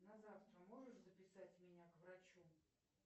на завтра можешь записать меня к врачу